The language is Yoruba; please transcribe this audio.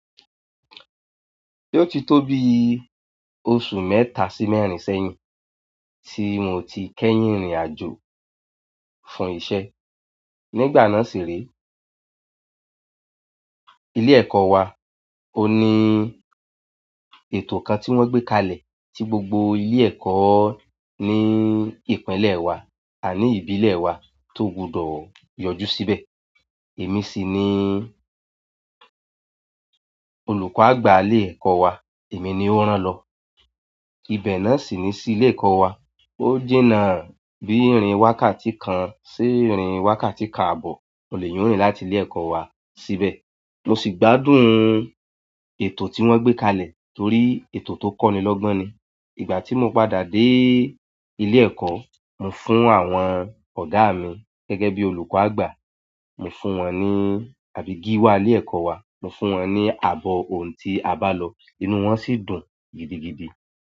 O ti to bi oṣù mẹ́ta si mẹ́rin sẹ́yìn ti mo ti kẹ́yìn rin-irin ajo fún iṣẹ́ nígbà náà sì rí ilé ẹ̀kọ́ wa, ó ní ètò kan tí wọ́n gbé kalẹ̀ tí gbogbo ilé ẹ̀kọ́ ní ìpínlẹ̀ wa a ní ìbílẹ̀ wa tó gbọdọ̀ yọjú síbẹ̀. Èmi sì ni olùkọ́ àgbà ilé ẹ̀kọ́ wa, èmi ni ó rán lọ. Ìbẹ̀ náà sì ní sí ilé ẹ̀kọ́ wa. Ó jìnà bí ìrìn wákàtí kan sí ìrìn wákàtí kan abo ohun ni eeyan o rìn láti ilé ẹ̀kọ́ wa síbẹ̀. Mo si gbádùn ètò ti won gbe kalẹ̀, torí ètò to koni logbon ni. Ìgbà tí mo padà dé ilé ẹ̀kọ́, mo fún àwọn ọ̀dọ́ mi gẹ́gẹ́ bí olùkọ́ àgbà. Mo fún wọn ní, àbí gíwá ilé ẹ̀kọ́ wa, mo fún wọn ní àbọ̀ ohùn tí a bá lọ, inú wọn sì dùn gidigidi.